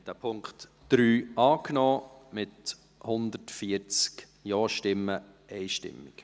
Sie haben den Punkt 3 angenommen, mit 140 JaStimmen einstimmig.